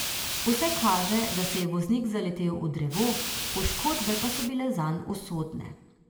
Vse kaže, da se je voznik zaletel v drevo, poškodbe pa so bile zanj usodne.